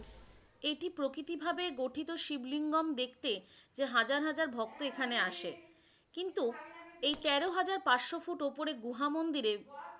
এটি প্রাকৃতিক ভাবে গঠিত শিব লিঙ্গম দেখতে হাজার হাজার ভক্ত এখানে আসে কিন্তু এই তেরো হাজার পাঁচশো ফুট উপরে গুহা মন্দিরে,